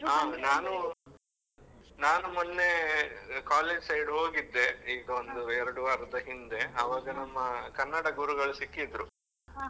ಆ ನಾನು ಮೊನ್ನೆ college side ಹೋಗಿದ್ದೆ, ಈಗ ಒಂದು ಎರ್ಡ್ ವಾರದ ಹಿಂದೆ ಅವಾಗ ನಮ್ಮ ಕನ್ನಡ ಗುರುಗಳು ಸಿಕ್ಕಿದ್ರು.